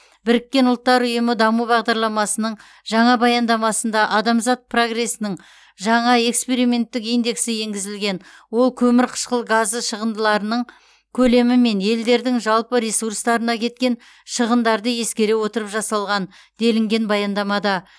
біріккен ұлттар ұйымы даму бағдарламасының жаңа баяндамасында адамзат прогресінің жаңа эксперименттік индексі енгізілген ол көмірқышқыл газы шығындыларының көлемі мен елдердің жалпы ресурстарына кеткен шығындарды ескере отырып жасалған делінген баяндамада